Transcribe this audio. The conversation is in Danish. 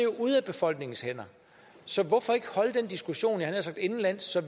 ude af befolkningens hænder så hvorfor ikke holde den diskussion jeg havde nær sagt indenlands så